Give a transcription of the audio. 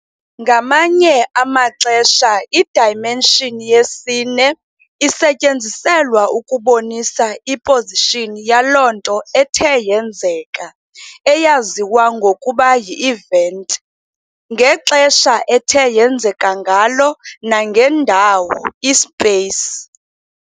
Ngamanye amaxesha i-dimention yesine isetyenziselwa ukubonisa i-position yaloo nto ethe yenzeka eyaziwa ngokuba yi-event, ngexesha ethe yenzeka ngalo nangendawo, i-space.